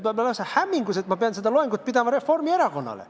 Ma olen lausa hämmingus, et ma pean seda loengut pidama Reformierakonnale.